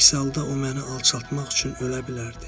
Əks halda o məni alçaltmaq üçün ölə bilərdi.